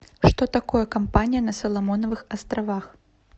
что такое кампания на соломоновых островах